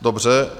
Dobře.